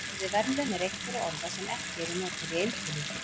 Orðið verðlaun er eitt þeirra orða sem ekki eru notuð í eintölu.